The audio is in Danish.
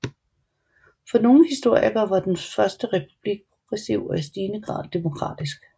For nogle historikere var den første republik progressiv og i stigende grad demokratisk